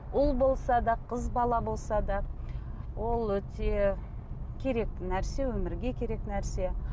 ұл болса да қыз бала болса да ол өте керек нәрсе өмірге керек нәрсе